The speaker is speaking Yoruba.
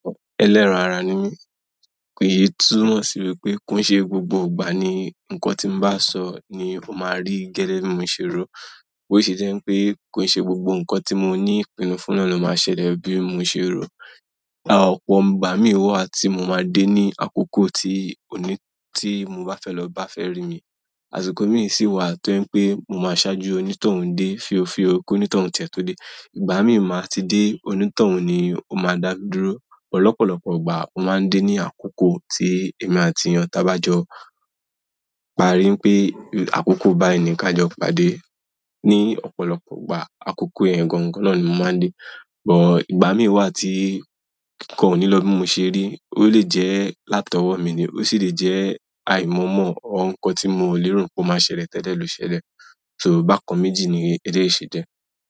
Ẹlẹ́ran ara ni mí. Kì í túnmọ̀ sí wípé ko n ṣe gbogbo ìgbà ni ǹkan tí mo bá sọ ni ó máa rí gẹ́dẹ́ bi mo ṣe ro. Bo ṣe jẹ́ pe ko n ṣe gbogbo nkan ti mo ni ìpinnu fún náà lo maa ṣẹlẹ̀ gẹ́gẹ́ bi mo ṣẹ̀ ro. Ọ̀pọ̀ ìgbà mi wá ti mo ma de ni akokoti mo ba fẹ́ lọ ba fẹ́ ri mi àsìkò mi sì wà tó ń pé mo máa ṣáájú onítọ̀hún dé fíofío kí onítọ̀hún tìẹ̀ tó dé. Ìgbà mi ò máa ti dé, onítọ̀hún ni ó máa dá dúró. Lọpọlọpọ ìgbà o maa n de ni akoko ti èmi àti eeyan ta ba jọ parí wípé àkókò bá ẹnì ká jọ pàdé. Ni ọ̀pọ̀lọpọ̀ ìgbà àkoko yẹn gan gan náà ni mo máa ń dé. But, ìgbà mii wa ti nkan o ni lọ bi mo ṣe ri. Ó lè jẹ́ látọwọ́ mi ni ó sì lè jẹ́ àìmọ̀ọ́mọ̀ ǹkan tí mo ò lè rò pé ó máa ṣẹlẹ̀ tẹ̀lé lọ ṣẹlẹ̀. So bákan méjì ni eleyi ṣe jẹ.